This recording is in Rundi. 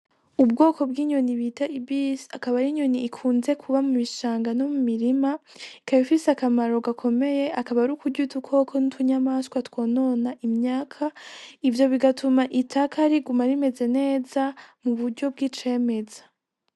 Ubwoko bw'inyoni bita ibisi akaba ari inyoni ikunze kuba mu bishanga no mumirima ikaba ifise akamaro gakomeye akaba ari kurya udukoko n'utu nyamaswa twonona imyaka ivyo bigatuma itaka riguma rimeze neza mu buryo bw'icemeza.